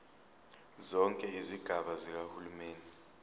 zonke izigaba zikahulumeni